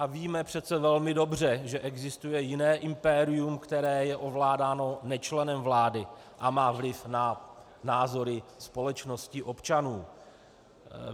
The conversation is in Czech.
A víme přeci velmi dobře, že existuje jiné impérium, které je ovládáno nečlenem vlády a má vliv na názory společnosti, občanů.